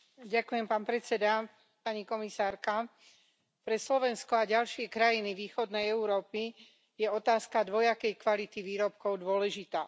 Vážený pán predsedajúci, pre Slovensko a ďalšie krajiny východnej Európy je otázka dvojakej kvality výrobkov dôležitá.